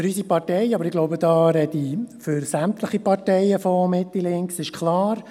Für unsere Partei, aber ich glaube, da spreche ich für sämtliche Parteien von Mitte-Links, ist klar: